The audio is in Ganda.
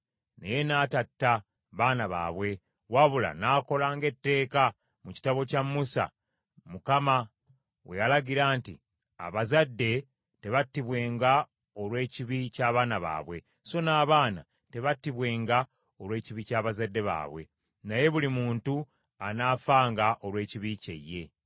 Naye n’atatta baana baabwe, wabula n’akola ng’etteeka mu kitabo kya Musa, Mukama we yalagira nti, “Abazadde tebattibwenga olw’ekibi ky’abaana baabwe, so n’abaana tebattibwenga olw’ekibi ky’abazadde baabwe, naye buli muntu anaafanga olw’ekibi kye ye.”